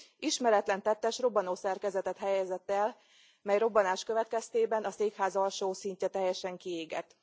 Ismeretlen tettes robbanószerkezetet helyezett el, mely robbanás következtében a székház alsó szintje teljesen kiégett.